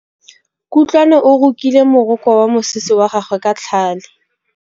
Kutlwanô o rokile morokô wa mosese wa gagwe ka tlhale.